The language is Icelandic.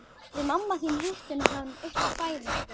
Við mamma þín hittum hann uppi á fæðingardeild.